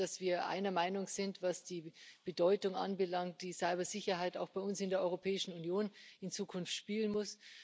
Mich freut es, dass wir einer Meinung sind, was die Bedeutung anbelangt, die die Cybersicherheit auch bei uns in der Europäischen Union in Zukunft haben muss.